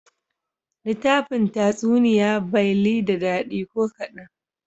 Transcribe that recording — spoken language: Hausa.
Litafin Tatsuniya bay li da dadi ko kadan.